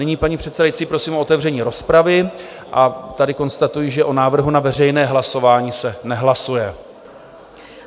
Nyní, paní předsedající, prosím o otevření rozpravy, a tady konstatuji, že o návrhu na veřejné hlasování se nehlasuje.